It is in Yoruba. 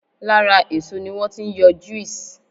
Lára èso ni wọ́n ti ń yọ juice